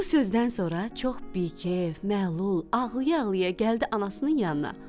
Bu sözdən sonra çox bikef, məlul, ağlaya-ağlaya gəldi anasının yanına.